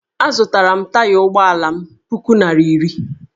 Azụtara m taya ụgbọala m puku naira iri